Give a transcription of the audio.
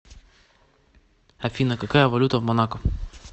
афина какая валюта в монако